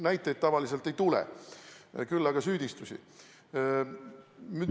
Näiteid tavaliselt ei tule, küll aga süüdistusi.